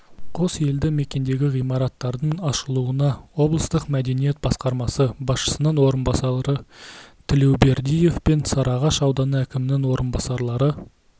қос елді мекендегі ғимараттардың ашылуына облыстық мәдениет басқармасы басшысының орынбасары тілеубердиев пен сарыағаш ауданы әкімінің орынбасарлары